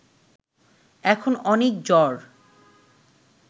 এখন অনেক জ্বর